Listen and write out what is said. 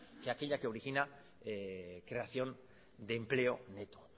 que aquella que origina creación de empleo neto